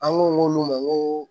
An b'o k'olu ma ŋoo